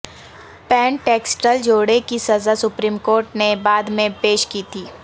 Pentecostal جوڑے کی سزا سپریم کورٹ نے بعد میں پیش کی تھی